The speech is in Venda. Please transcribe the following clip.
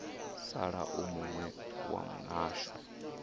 sala u muwe wa mihasho